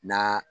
Na